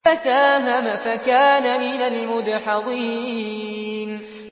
فَسَاهَمَ فَكَانَ مِنَ الْمُدْحَضِينَ